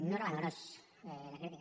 no era a l’engròs la crítica